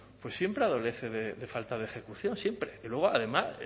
siempre adolece de falta de ejecución siempre y luego además